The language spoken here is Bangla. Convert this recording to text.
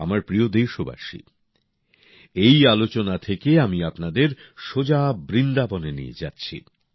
আমার প্রিয় দেশবাসী এই আলোচনা থেকে আমি আপনাদের সোজা বৃন্দাবনে নিয়ে যাচ্ছি